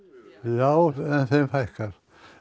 já en þeim fækkar